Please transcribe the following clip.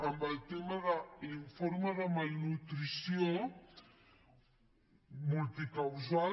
amb el tema de l’informe de malnutrició multicausal